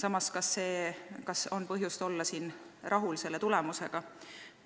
Aga kas on põhjust selle tulemusega rahul olla?